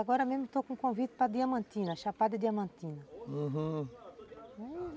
Agora mesmo estou com convite para Diamantina, Chapada Diamantina, uhum.